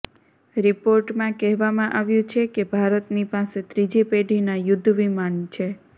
રિપોર્ટમાં કહેવામાં આવ્યું છે કે ભારતની પાસે ત્રીજી પેઢીના યુદ્ધવિમાન છે